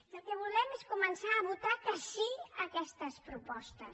i el que volem és començar a votar que sí a aquestes propostes